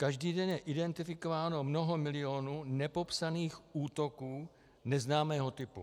Každý den je identifikováno mnoho milionů nepopsaných útoků neznámého typu.